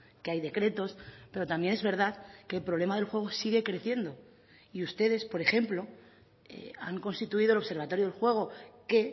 que hay decretos pero también es verdad que el problema del juego sigue creciendo y ustedes por ejemplo han constituido el observatorio del juego que